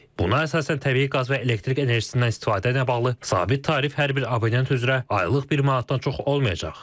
Buna əsasən təbii qaz və elektrik enerjisindən istifadə ilə bağlı sabit tarif hər bir abonent üzrə aylıq bir manatdan çox olmayacaq.